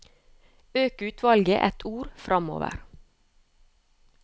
Øk utvalget ett ord framover